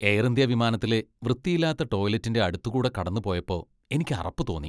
Air India വിമാനത്തിലെ വൃത്തിയില്ലാത്ത ടോയ്ലറ്റിന്റെ അടുത്തുകൂടെ കടന്നുപോയപ്പോ എനിക്ക് അറപ്പ് തോന്നി .